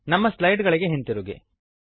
ನಮ್ಮ ಸ್ಲೈಡ್ ಗಳಿಗೆ ಹಿಂದಿರುಗಿರಿ